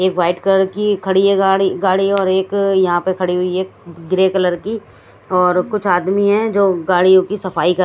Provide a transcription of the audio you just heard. ये white colour की खड़ी है गाड़ी गाड़ी और एक यहां पे खड़ी हुई है ग्रे कलर की और कुछ आदमी हैं जो गाड़ियों की सफाई कर--